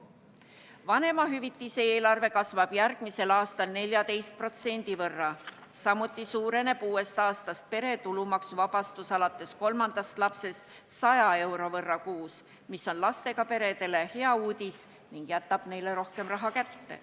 Vanemahüvitiste eelarve kasvab järgmisel aastal 14%, samuti suureneb uuest aastast pere tulumaksuvabastus alates kolmandast lapsest 100 euro võrra kuus, mis on lastega peredele hea uudis ning jätab neile rohkem raha kätte.